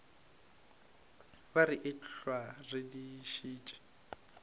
be re ehlwa re dišitše